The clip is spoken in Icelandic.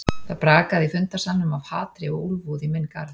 Það brakaði í fundarsalnum af hatri og úlfúð í minn garð.